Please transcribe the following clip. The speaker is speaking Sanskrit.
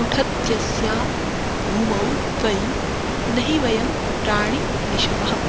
लुठत्यस्यां भूमौ त्वयि नहि वयं प्राणिनिषवः